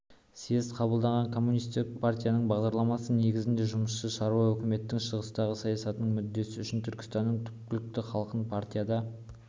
съезд қабылдаған коммунистік партияның бағдарламасы негізінде жұмысшы-шаруа өкіметінің шығыстағы саясатының мүддесі үшін түркістанның түпкілікті халқын партияда